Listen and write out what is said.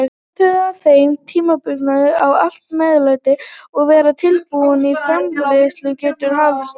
Athugaðu að á þeim tímapunkti á allt meðlæti að vera tilbúið og framreiðsla getur hafist.